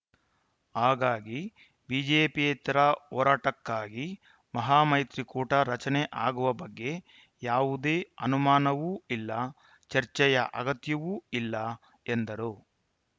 ಹಾಗಾಗಿ ಬಿಜೆಪಿಯೇತರ ಹೋರಾಟಕ್ಕಾಗಿ ಮಹಾಮೈತ್ರಿ ಕೂಟ ರಚನೆ ಆಗುವ ಬಗ್ಗೆ ಯಾವುದೇ ಅನುಮಾನವೂ ಇಲ್ಲ ಚರ್ಚೆಯ ಆಗತ್ಯವೂ ಇಲ್ಲ ಎಂದರು